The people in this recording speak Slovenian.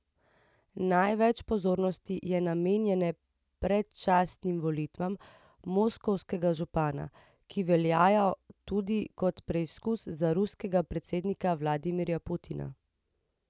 Največ pozornosti je namenjene predčasnim volitvam moskovskega župana, ki veljajo tudi kot preizkus za ruskega predsednika Vladimirja Putina.